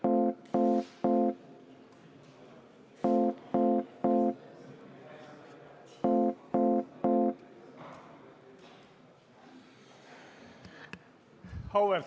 Auväärt kolleegid, meil kulus tervelt 35 minutit ja istung on lõppenud.